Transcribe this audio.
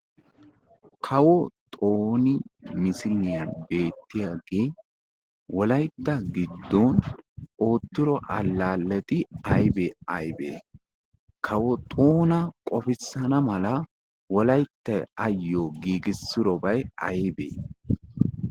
kawo xooni misiliyaan beettiyaage wollaytta giddoon oottido allaalletti aybee aybee? kawo xoona qoffisana mala wollayttay ottidobay aybee aybee?